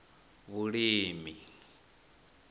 vhulimi